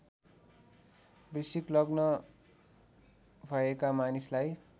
वृश्चिक लग्न भएका मानिसलाई